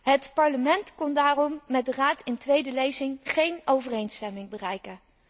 Het Parlement kon daarom met de Raad in tweede lezing geen overeenstemming bereiken.